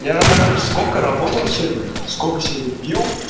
я нахуй сколько работал сегодня сколько сегодня пить